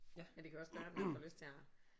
Men det kan jo også gøre at man får lyst til at